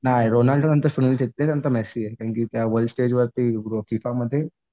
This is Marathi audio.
नाही रोनाल्डो नंतर सुनील छेत्री नंतर मेसी आहे. कारण की त्या वर्ल्ड स्टेज वरती फिफामध्ये